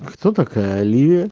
кто такая лиа